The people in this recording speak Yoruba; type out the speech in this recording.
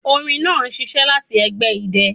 Orin naa n ṣiṣẹ lati ẹgbẹ idẹ